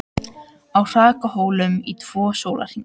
Á hrakhólum í tvo sólarhringa